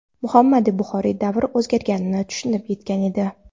Muhammadu Buxoriy davr o‘zgarganini tushunib yetgan edi.